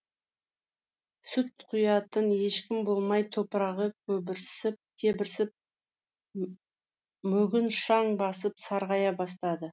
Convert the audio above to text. сүт құятын ешкім болмай топырағы кебірсіп мүгін шаң басып сарғая бастады